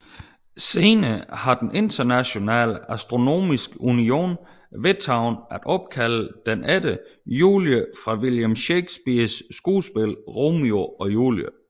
Senere har den Internationale Astronomiske Union vedtaget at opkalde den efter Julie fra William Shakespeares skuespil Romeo og Julie